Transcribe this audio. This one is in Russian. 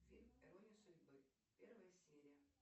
фильм ирония судьбы первая серия